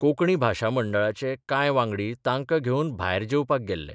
कोंकणी भाशा मंडळाचे कांय वांगडी तांकां घेवन भायर जेवपाक गेल्ले.